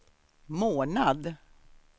månad